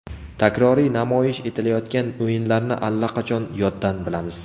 Takroriy namoyish etilayotgan o‘yinlarni allaqachon yoddan bilamiz.